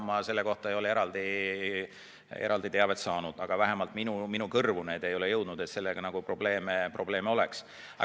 Ma selle kohta ei ole eraldi teavet saanud, aga vähemalt minu kõrvu ei ole jõudnud, et sellega probleeme oleks.